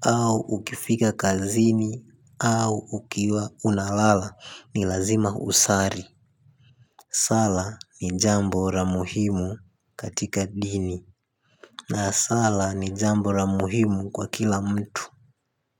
Au ukifika kazini au ukiwa unalala ni lazima usali. Sala ni jambo la muhimu katika dini. Na sala ni jambo la muhimu kwa kila mtu. Kwa hivyo.